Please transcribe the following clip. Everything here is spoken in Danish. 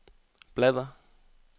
bladr